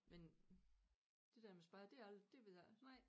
Men det der med spejder det aldrig det ved jeg ikke